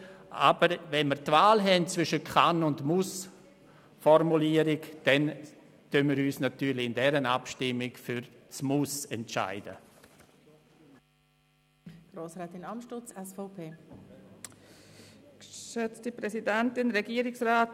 Aber wenn wir die Wahl haben zwischen einer Kann- und einer Mussformulierung, entscheiden wir uns in dieser Abstimmung für das Muss.